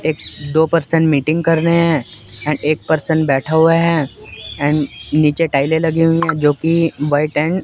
एक दो person meeting कर रहे हैं एंड एक पर्सन बैठा हुआ है एंड नीचे टाइलें लगी हुई हैं जोकि व्हाइट एंड --